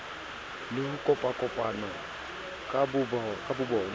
le ho kopakopana ka bobona